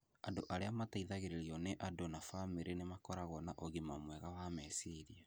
Andũ arĩa mateithagĩrĩrio nĩ andũ na bamĩrĩ nĩ makoragwo na ũgima mwega wa meciria